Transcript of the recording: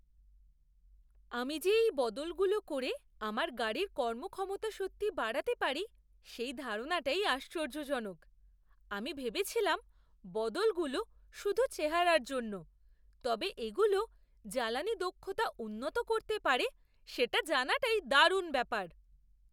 আমি যে এই বদলগুলো করে আমার গাড়ির কর্মক্ষমতা সত্যি বাড়াতে পারি সেই ধারণাটাই আশ্চর্যজনক। আমি ভেবেছিলাম বদলগুলো শুধু চেহারার জন্য, তবে এগুলো জ্বালানী দক্ষতা উন্নত করতে পারে সেটা জানাটাই দারুণ ব্যাপার।